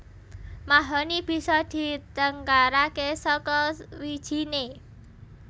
Mahoni bisa ditengkaraké saka wijiné